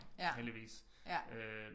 Heldigvis øh